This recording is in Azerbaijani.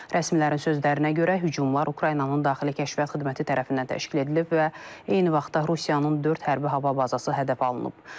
Rəsmilərin sözlərinə görə, hücumlar Ukraynanın daxili kəşfiyyat xidməti tərəfindən təşkil edilib və eyni vaxtda Rusiyanın dörd hərbi hava bazası hədəf alınıb.